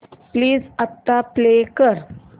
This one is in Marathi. प्लीज आता प्ले कर